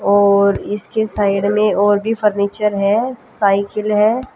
और इसके साइड में और भी फर्नीचर है साइकिल है।